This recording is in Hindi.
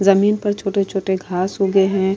जमीन पर छोटे-छोटे घास उगे हैं।